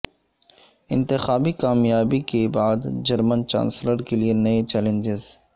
انتخابی کامیابی کے بعد جرمن چانسلر کے لیے نئے چیلنجز